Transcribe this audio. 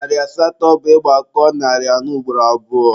Narị asatọ bụ ị gbakọọ narị anọ ugboro abụọ.